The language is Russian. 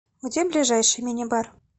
где ближайший мини бар